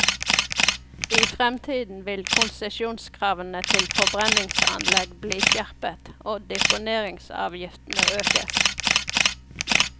I fremtiden vil konsesjonskravene til forbrenningsanlegg bli skjerpet, og deponeringsavgiftene økes.